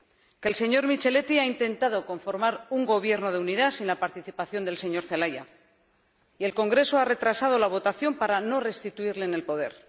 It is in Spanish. Que el señor Micheletti ha intentado conformar un gobierno de unidad sin la participación del señor Zelaya y el Congreso ha retrasado la votación para no restituirle en el poder.